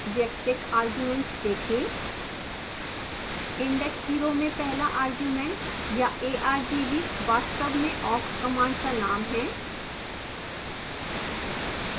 वैयक्तिक arguments देखें index 0 में पहला argument या argv वास्तव में awk कमांड का नाम है